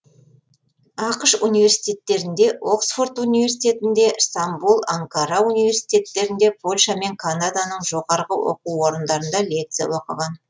ақш университеттерінде оксфорд университетінде стамбұл анкара университеттерінде польша мен канаданың жоғары оқу орындарында лекциялар оқыған